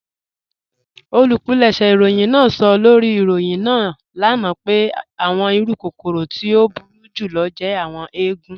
Olúpìlẹ̀ṣẹ̀ ìròyìn náà sọ̀ lórí ìròyìn ní ana pẹ̀ àwọn ìrù kòkòrò tí o búru jùlọ̀ jẹ̀ àwọn èègùn.